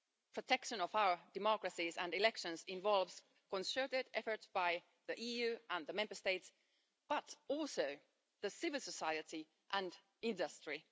Protection of our democracies and elections involves concerted efforts by the EU and the Member States, but also by civil society and industry.